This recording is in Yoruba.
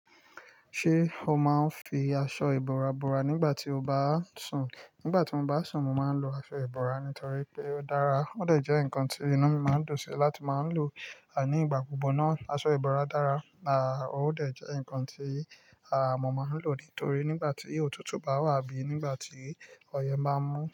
Ṣé o máa ń fi aṣọ ìbora bora nígbà tí o bá sùn? Nígbà tí mo bá sùn, mo máa ń lo aṣọ ìbora nítorí pé ó dára. Ó dẹ̀ jẹ́ nǹkan tí inú mi máa ń dùn sí láti máa ń lò nígbà gbogbo náà. Aṣọ ìbora dára, à ó dẹ̀ jẹ́ nǹkan tí, à, mo máa ń lò nítorí nígbà tí òtútù bá wà abí nígbà tí ọyẹ́ máa mú.